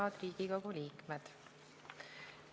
Head Riigikogu liikmed!